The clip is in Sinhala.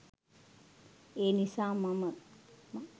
ඒනිසා මම